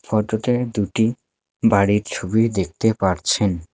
ফোটোতে দুটি বাড়ির ছবি দেখতে পারছেন।